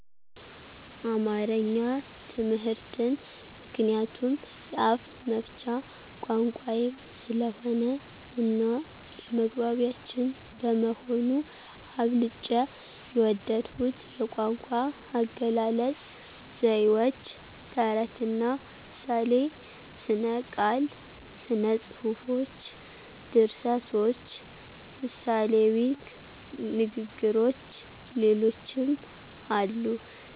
አማረኛ ትምህርትን ምክንያቱም የአፍመፍቻ ቋንቋየም ስለሆነ እናየመግባቢያችን በመሆኑ። አብልጨ የወደድሁት የቋንቋአገላለጽ፣ ዘይዎች፣ ተረትና ምሳሌ፣ ሥነቃል፣ ሥነጽፎች፣ ድርሰቶች፣ ምሣሌዊንግግሮች ሌሎችም አሉ።